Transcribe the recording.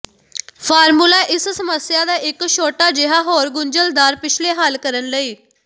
formula ਇਸ ਸਮੱਸਿਆ ਦਾ ਇੱਕ ਛੋਟਾ ਜਿਹਾ ਹੋਰ ਗੁੰਝਲਦਾਰ ਪਿਛਲੇ ਹੱਲ ਕਰਨ ਲਈ